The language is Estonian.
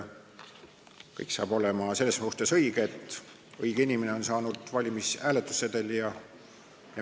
Kõik saab olema selles suhtes õige, et õige inimene saab hääletussedeli.